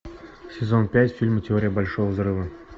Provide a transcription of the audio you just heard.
сезон пять фильма теория большого взрыва